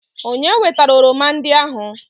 Onye wetara oroma ndị ahụ?